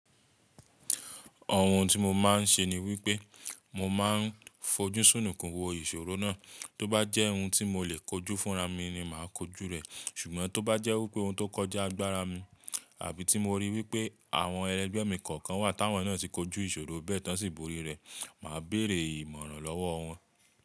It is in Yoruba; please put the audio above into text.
Ọ̀hun tí mo máa ń ṣe ni wípé mo máa ń fojú súnùn kún wò ìṣòro náà, tó bá jẹ́ ohun tí mo lè kojú fúnra mi ni màá kojú rẹ̀, ṣùgbọ́n tó bá jẹ́ wípé ohun tó kọjá agbára mi, àbí tí mo rí wípé àwọn ẹlẹgbẹ́ mi kọ̀ọ̀kan wà táwọn náà ti kojú ìṣòro bẹ́ẹ̀ tán ṣíbòrí rẹ̀, màá bèrè ìmọ̀ràn lọ́wọ́ wọn.